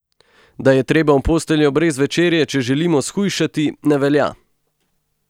Da je treba v posteljo brez večerje, če želimo shujšati, ne velja!